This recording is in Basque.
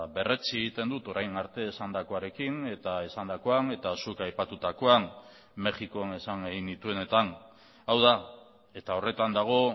berretsi egiten dut orain arte esandakoarekin eta esandakoan eta zuk aipatutakoan mexikon esan egin nituenetan hau da eta horretan dago